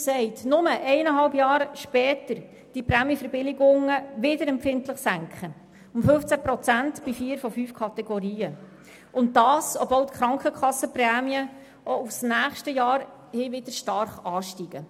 Jetzt, nur eineinhalb Jahre später, will die Regierung die Prämienverbilligungen erneut empfindlich um 15 Prozent in vier von fünf Kategorien senken, obwohl die Krankenkassenprämien auf nächstes Jahr wieder stark ansteigen.